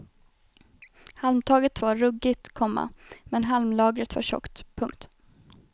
Halmtaket var ruggigt, komma men halmlagret var tjockt. punkt